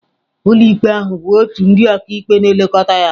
Ụlọikpe ahụ bụ òtù ndị ọkàikpe na-elekọta ya.